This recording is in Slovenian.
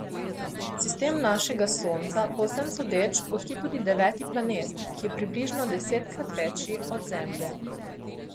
Sistem našega Sonca po vsem sodeč gosti tudi deveti planet, ki je približno desetkrat večji od Zemlje.